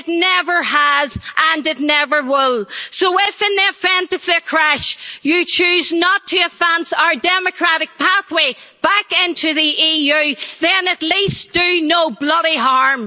It never has and it never will. So, if in the event of a crash, you choose not to advance our democratic pathway back into the EU, then at least do no bloody harm.